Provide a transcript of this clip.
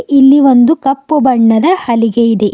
ಇಲ್ಲಿ ಒಂದು ಕಪ್ಪು ಬಣ್ಣದ ಹಲಿಗೆ ಇದೆ.